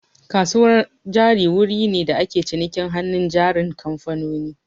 Kasuwar jari wuri ne da ake cinikin hannun jarin kamfanoni